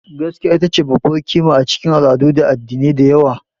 Gaskiya ita ce babbar ƙima a cikin al'adu da addinai da yawa.